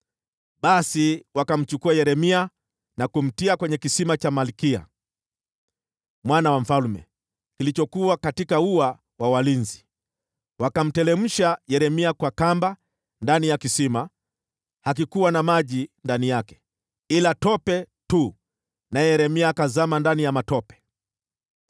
Basi wakamchukua Yeremia na kumtia kwenye kisima cha Malkiya, mwana wa mfalme, kilichokuwa katika ua wa walinzi. Wakamteremsha Yeremia kwa kamba ndani ya kisima. Hakikuwa na maji ndani yake, ila tope tu, naye Yeremia akazama ndani ya matope.